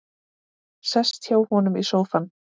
Sest hjá honum í sófann.